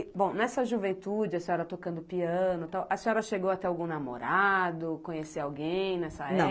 bom, nessa juventude, a senhora tocando piano e tal, a senhora chegou a ter algum namorado, conhecer alguém nessa, não,